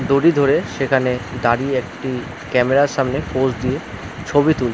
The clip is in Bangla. দড়ি ধরে সেখানে দাঁড়িয়ে একটি ক্যামেরা - এর সামনে পোজ দিয়ে ছবি তুল--